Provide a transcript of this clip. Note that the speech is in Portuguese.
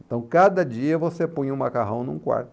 Então, cada dia você punha o macarrão num quarto.